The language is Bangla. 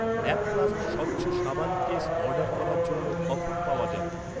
ল্যাপ্লাস্ট স্বচ্ছ সাবান কেস অর্ডার করার জন্য কখন পাওয়া যাবে?